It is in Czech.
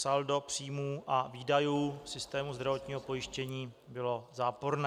Saldo příjmů a výdajů systému zdravotního pojištění bylo záporné.